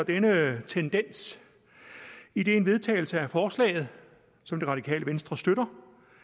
denne tendens idet en vedtagelse af forslaget som det radikale venstre støtter